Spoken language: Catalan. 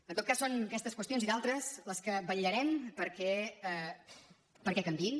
en tot cas són aquestes qüestions i d’altres les que hi vetllarem perquè canviïn